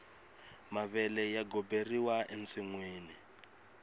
mavele ya goberiwa ensinwini